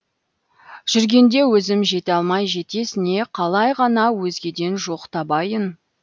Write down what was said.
жүргенде өзім жете алмай жетесіне қалай ғана өзгеден жоқ табайын